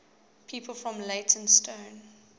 people from leytonstone